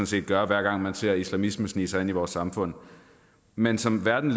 set gøre hver gang man ser islamismen snige sig ind i vores samfund men som verden